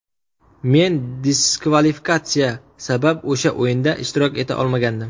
Men diskvalifikatsiya sabab o‘sha o‘yinda ishtirok eta olmagandim.